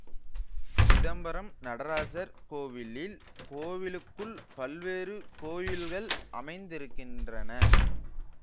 சிதம்பரம் நடராசர் கோவிலில் கோவிலுக்குள் பல்வேறு கோயில்கள் அமைந்திருக்கின்றன